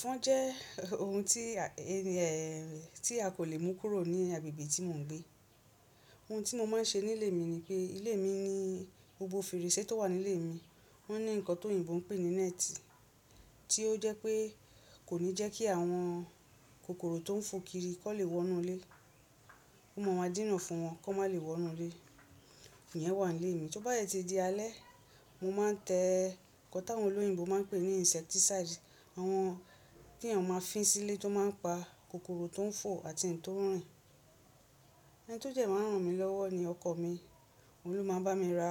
Ẹfọn jẹ́ ohun tí èè, tí a kò lè mú kúrò ní agbègbè tí mò ń gbé. Ohun tí mo máa ń ṣe ní ilé mi ni pé, ilé mi ní gbogbo fèrèsé tó wà ní ilé mi, ó ní nǹkan tó oyìnbó ń pè ní nẹ́ẹ́tì, tí ó jẹ́ pé kò ní jẹ́ kí àwọn kòkòrò tó ń fò kirí kán lè wọ́nú ilé, ó máa máa díná fún wọn kọ́ ma lè wọ́nú ilé. Òhùn yẹn wà ní ilé mi. To bá yẹ ti di alẹ́, mo máa ń tẹ ń kan tí àwọn oloyìnbó máa ń pè ní insecticide. Àwọn tí ènìyàn máa ń fín sí ilé tó máa ń pa kòkòrò tó ń fò àti n tó n rìn. Ẹni tó jẹ máràn mí lọ́wọ́ ni ọkọ mi. Òun ló máa ń bá mi ra